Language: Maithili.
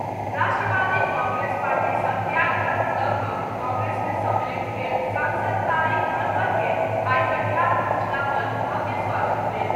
राष्ट्रवादी कांग्रेस पार्टी सॅ त्याग पत्र दऽकऽ कांग्रेस मे सम्मिलित भेल सांसद तारिक अनवर के आइ कटिहार पहुंचला पर भव्य स्वागत भेल।